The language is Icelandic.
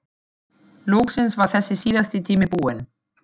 Loksins var þessi síðasti tími búinn.